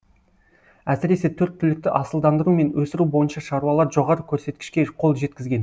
әсіресе төрт түлікті асылдандыру мен өсіру бойынша шаруалар жоғары көрсеткішке қол жеткізген